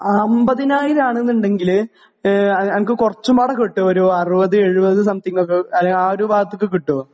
50000 ആണ് എന്നുണ്ടെങ്കിൽ എനക്ക് കുറച്ചും മേടെ കിട്ടും ഒരു 60, 70 സംതിങ് ഒക്കെ, ആ ഒരു ഭാഗത്തൊക്കെ കിട്ടുവോ?